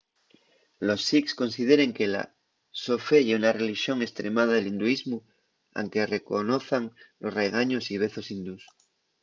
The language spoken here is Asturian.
los sikhs consideren que la so fe ye una relixón estremada del hinduismu anque reconozan los raigaños y vezos hindús